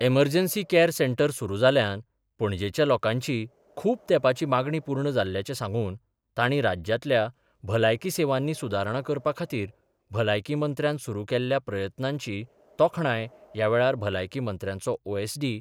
emergency care centre सुरू जाल्ल्यान पणजेच्या लोकांची खूप तेपाची मागणी पूर्ण जाल्ल्याचे सांगून तांणी राज्यातल्या भलायकी सेवांनी सुदारणां करपा खातीर भलायकी मंत्र्यान सुरू केल्ल्या प्रयत्नांची तोखणाय ह्या वेळार भलायकी मंत्र्याच्यो ओएसडी